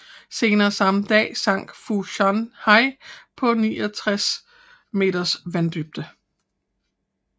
Senere samme dag sank Fu Shan Hai på 69 meters vanddybde